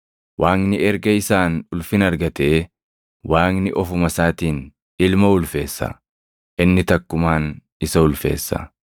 Waaqni erga isaan ulfina argatee, Waaqni ofuma isaatiin Ilma ulfeessa; inni takkumaan isa ulfeessa.